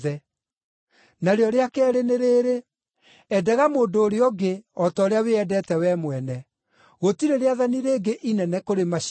Narĩo rĩa keerĩ nĩ rĩrĩ: ‘Endaga mũndũ ũrĩa ũngĩ o ta ũrĩa wĩendete wee mwene.’ Gũtirĩ rĩathani rĩngĩ inene kũrĩ macio.”